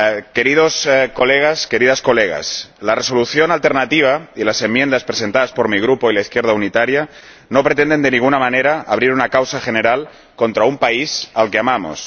Queridos colegas, queridas colegas, la Resolución alternativa y las enmiendas presentadas por mi Grupo de la Izquierda Unitaria no pretenden, de ninguna manera, abrir una causa general contra un país al que amamos.